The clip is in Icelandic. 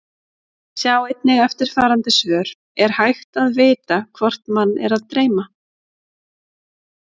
Sjá einnig eftirfarandi svör: Er hægt að vita hvort mann er að dreyma?